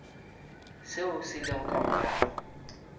seo se lego ka morago